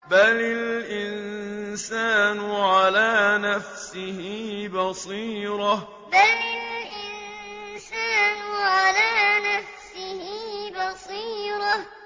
بَلِ الْإِنسَانُ عَلَىٰ نَفْسِهِ بَصِيرَةٌ بَلِ الْإِنسَانُ عَلَىٰ نَفْسِهِ بَصِيرَةٌ